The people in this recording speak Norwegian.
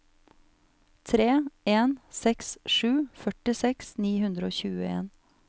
tre en seks sju førtiseks ni hundre og tjueen